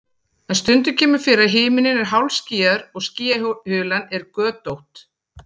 en stundum kemur fyrir að himinninn er hálfskýjaður og skýjahulan er götótt